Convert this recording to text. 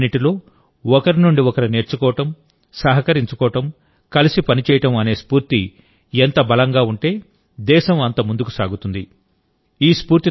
మన రాష్ట్రాలన్నింటిలో ఒకరి నుండి ఒకరు నేర్చుకోవడం సహకరించుకోవడం కలిసి పనిచేయడం అనే స్ఫూర్తి ఎంత బలంగా ఉంటే దేశం అంత ముందుకు సాగుతుంది